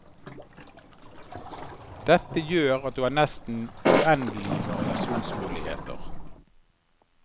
Dette gjør at du har nesten uendelige variasjonsmuligheter.